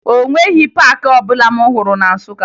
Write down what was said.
O nweghi paakị ọbụla m hụrụ na Nsụka